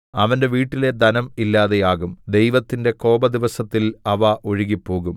അവന്റെ വീട്ടിലെ ധനം ഇല്ലാതെയാകും ദൈവത്തിന്റെ കോപദിവസത്തിൽ അവ ഒഴുകിപ്പോകും